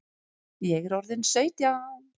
Ég er orðin sautján!